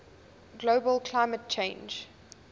global climate change